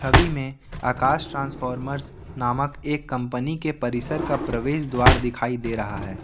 छवि में आकाश ट्रांसफॉमर्स नामक एक कंपनी के परिसर का प्रवेश द्वार दिखाई दे रहा है।